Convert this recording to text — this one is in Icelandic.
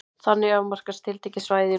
Þannig afmarkast tiltekið svæði í rúminu.